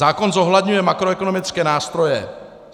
Zákon zohledňuje makroekonomické nástroje.